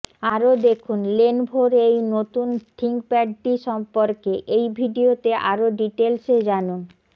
আরও দেখুনঃ লেনভোর এই নতুন থিঙ্কপ্যাডটি সম্পর্কে এই ভিডিওতে আরও ডিটেলসে জানুন